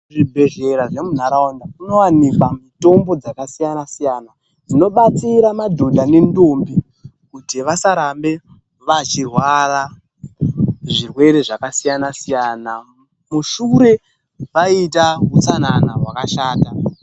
Zvibhehlera zvemunharaunda munowanikwa mitombo dzakasiyana siyana dzinobatsira madhodha nendombi kuti vasarambe vachirwara zvirwere zvakasiyana siyana mushure vaita utsanana hwakashata.